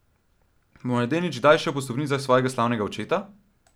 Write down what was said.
Bo mladenič kdaj šel po stopinjah svojega slavnega očeta?